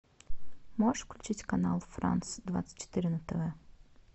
можешь включить канал франс двадцать четыре на тв